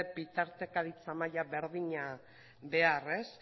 bitartekaritza maila berdina behar